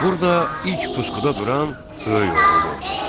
Burda ilk puskuda duran böyük oğul oldu.